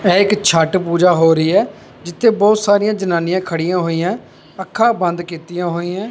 ਇਹ ਇੱਕ ਛੱਠ ਪੂਜਾ ਹੋ ਰਹੀ ਐ ਜਿੱਥੇ ਬਹੁਤ ਸਾਰੀਆਂ ਜਨਾਨੀਆਂ ਖੜੀਆਂ ਹੋਈਆਂ ਅੱਖਾਂ ਬੰਦ ਕੀਤੀਆਂ ਹੋਈਆਂ।